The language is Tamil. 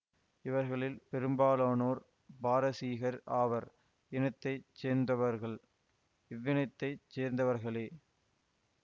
இவர்களில் பெரும்பாலானோர் பாரசீகர் ஆவர் இனத்தை சேர்ந்தவர்கள் இவ்வினத்தைச் சேர்ந்தவர்களே